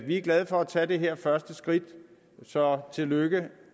vi er glade for at tage det her første skridt så tillykke